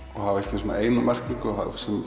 hafa ekki eina merkingu það